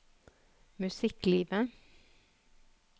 musikklivet